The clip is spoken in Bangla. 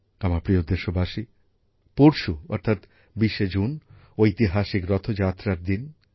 আমার প্রিয় দেশবাসী পরশু অর্থাৎ ২০শে জুন ঐতিহাসিক রথযাত্রার দিন